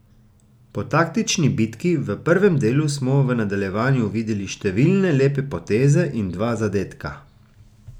Po taktični bitki v prvem delu smo v nadaljevanju videli številne lepe poteze in dva zadetka.